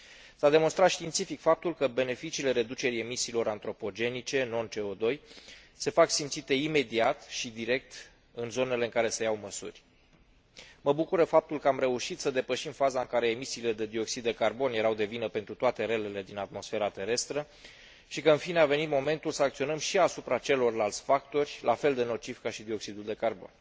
S a demonstrat științific faptul că beneficiile reducerii emisiilor antropogenice non CO 2 se fac simțite imediat și direct în zonele în care se iau măsuri. Mă bucură faptul că am reușit să depășim faza în care emisiile de dioxid de carbon erau de vină pentru toate relele din atmosfera terestră și că, în fine, a venit momentul să acționăm și asupra celorlalți factori, la fel de nocivi ca și dioxidul de carbon.